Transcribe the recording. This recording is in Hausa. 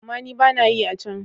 Amma ni ba na yi a can.